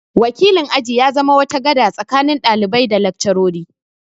Wakilin aji ya zama wata gada tsakanin ɗalibai da laccarori